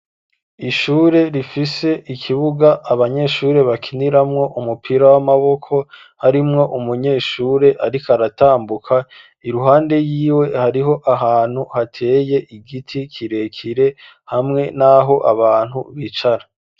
Ishure, rifise ikibuga, abanyeshure bakiniramwo, umupira w'amaboko; harimwo umunyeshure, ariko aratambuka, iruhande yiwe, hariho ahantu hateye igiti, kirekire, hamwe n'aho abantu bicara.